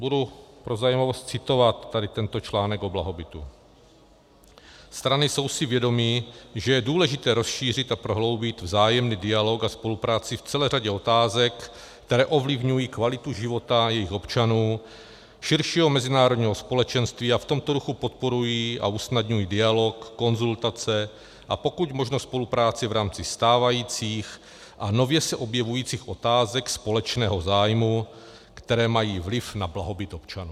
Budu pro zajímavost citovat tady tento článek o blahobytu: Strany jsou si vědomy, že je důležité rozšířit a prohloubit vzájemný dialog a spolupráci v celé řadě otázek, které ovlivňují kvalitu života jejich občanů, širšího mezinárodního společenství a v tomto duchu podporují a usnadňují dialog, konzultace a pokud možno spolupráci v rámci stávajících a nově se objevujících otázek společného zájmu, které mají vliv na blahobyt občanů.